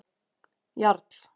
Jarl